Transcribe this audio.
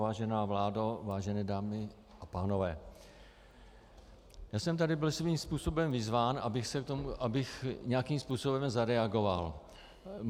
Vážená vládo, vážené dámy a pánové, já jsem tady byl svým způsobem vyzván, abych nějakým způsobem zareagoval.